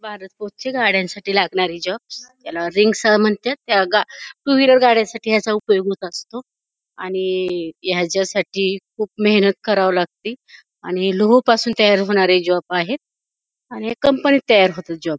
भारत फोर्सच्या गाड्यांसाठी लागणारे जॉबस याला रिंग्स म्हणत्यात त्या गा टू व्हीलर गाड्यासाठी याचा उपयोग होत असतो आणि ह्यच्यासाठी खूप मेहनत कराव लागती आणि लोहपासून तयार होणारे जॉब आहेत आणि हे कंपनीत तयार होतात जॉब --